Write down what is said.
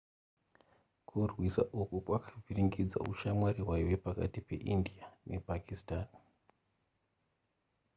kurwisa uku kwakavhiringidza ushamwari hwaiva pakati peindia nepakistan